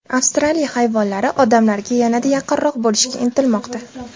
Avstraliya hayvonlari odamlarga yanada yaqinroq bo‘lishga intilmoqda .